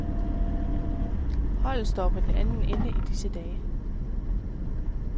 Holdet står på den anden ende i disse dage.